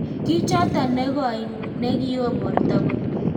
Kichotoo negoi nekioo portoo koot